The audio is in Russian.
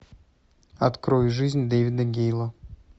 открой жизнь дэвида гейла